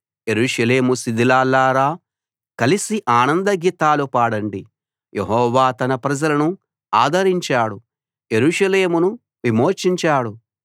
యెరూషలేము శిథిలాల్లారా కలిసి ఆనంద గీతాలు పాడండి యెహోవా తన ప్రజలను ఆదరించాడు యెరూషలేమును విమోచించాడు